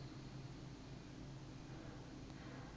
a hi ku rhandza ka